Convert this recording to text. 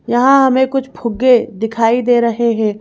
यहाँ हमें कुछ फुग्गे दिखाई दे रहे हैं।